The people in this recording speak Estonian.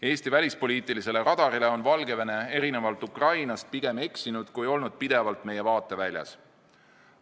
Eesti välispoliitilisele radarile on Valgevene erinevalt Ukrainast pigem eksinud, kui olnud pidevalt meie vaateväljas.